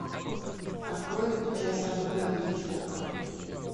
открой час альфреда хичкока